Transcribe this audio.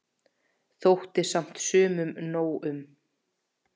Þótti samt sumum nóg um.